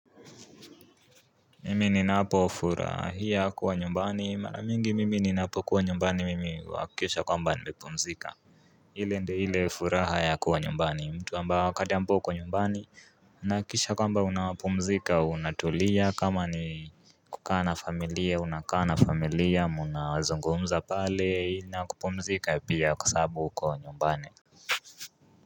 Mimi ninapofurahia kuwa nyumbani mara mingi mimi ninapokuwa nyumbani mimi huhakikisha kwamba nimepumzika ile ndio ile furaha yakuwa nyumbani mtu ambao kandampo uko nyumbani unahakikisha kwamba unapumzika, unatulia kama ni kukaa na familia unakaa na familia mnazungumza pale inakupumzika pia kwa sababu uko nyumbani.